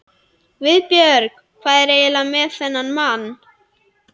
GUÐBJÖRG: Hvað er eiginlega með þennan mann?